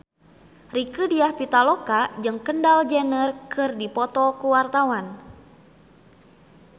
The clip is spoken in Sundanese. Rieke Diah Pitaloka jeung Kendall Jenner keur dipoto ku wartawan